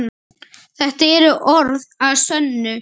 Þetta eru orð að sönnu.